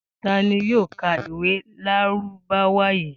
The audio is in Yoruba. Ta ni yóò ka ìwé Lárúbáwá yìí?